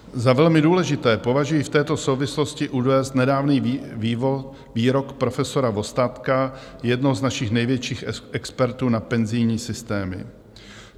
Za velmi důležité považuji v této souvislosti uvést nedávný výrok profesora Vostatka, jednoho z našich největších expertů na penzijní systémy.